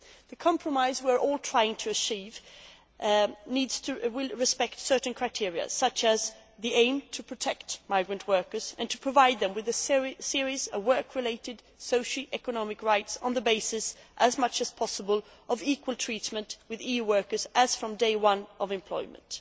The compromise we are all trying to achieve will respect certain criteria, such as the aim to protect migrant workers and to provide them with a series of work related socio economic rights on the basis, as much as possible, of equal treatment with EU workers as from day one of employment.